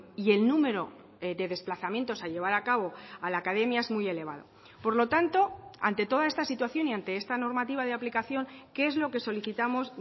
y el número de desplazamientos a llevar a cabo a la academia es muy elevado por lo tanto ante toda esta situación y ante esta normativa de aplicación qué es lo que solicitamos